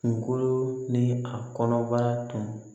Kunkolo ni a kɔnɔbara tun